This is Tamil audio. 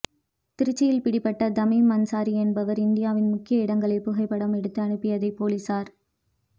திருச்சியில் பிடிபட்ட தமீம் அன்சாரி என்பவர் இந்தியாவின் முக்கிய இடங்களைப் புகைப்படம் எடுத்து அனுப்பியதை போலீஸார்